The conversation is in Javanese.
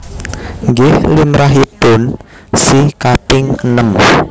Nggih limrahipun si kaping enem